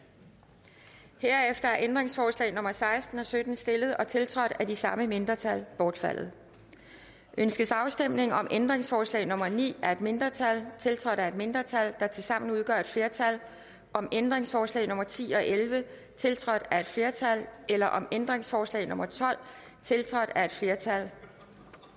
herefter er ændringsforslag nummer seksten og sytten stillet og tiltrådt af de samme mindretal bortfaldet ønskes afstemning om ændringsforslag nummer ni af et mindretal tiltrådt af et mindretal der tilsammen udgør et flertal om ændringsforslag nummer ti og elleve tiltrådt af et flertal eller om ændringsforslag nummer tolv tiltrådt af et flertal